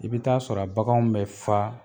I bɛ taa sɔrɔ a baganw bɛ fa